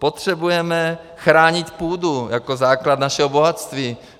Potřebujeme chránit půdu jako základ našeho bohatství.